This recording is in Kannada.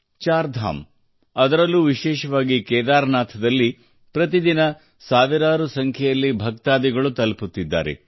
ಚಾರ್ಧಾಮ್ ಮತ್ತು ಅದರಲ್ಲೂ ವಿಶೇಷವಾಗಿ ಕೇದಾರನಾಥ್ ನಲ್ಲಿ ಪ್ರತಿದಿನ ಸಾವಿರಾರು ಸಂಖ್ಯೆಯಲ್ಲಿ ಭಕ್ತಾದಿಗಳು ಅಲ್ಲಿಗೆ ತಲುಪುತ್ತಿದ್ದಾರೆ